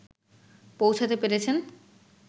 পৌঁছাতে পেরেছেন